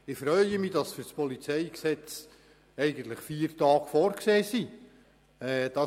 Ich freue mich, dass für die Beratung des PolG vier Tage vorgesehen sind.